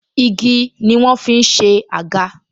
Igi ni wọ́n ń fi ṣe àga